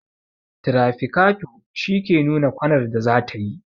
tirafikato shi ke nuna kwanar da zatayi